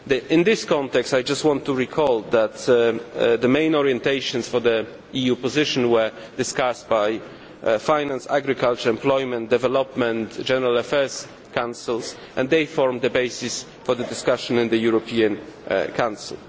In this context I just want to recall that the main orientations for the EU position were discussed by the Finance, Agriculture, Employment, Development, and General Affairs Councils and they form the basis for the discussion in the European Council.